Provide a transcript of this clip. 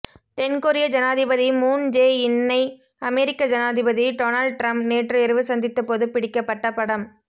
தென் கொரிய ஜனாதிபதி Moon Jae இன்னை அமெரிக்க ஜனாதிபதி டொனால்ட் ட்ரம்ப் நேற்று இரவு சந்தித்தபோது பிடிக்கப்பட்ட படம்